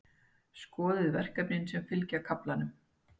Skoðið verkefnin sem fylgja kaflanum.